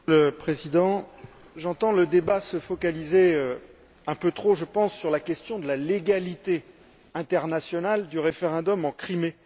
Monsieur le Président, j'entends le débat se focaliser, un peu trop je pense, sur la question de la légalité internationale du référendum en Crimée.